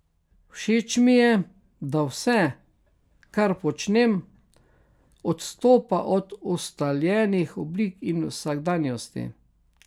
Všeč mi je, da vse, kar počnem, odstopa od ustaljenih oblik in vsakdanjosti.